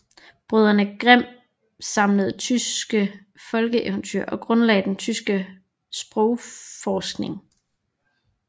Brødrene Grimm samlede tyske folkeeventyr og grundlagde den tyske sprogforskning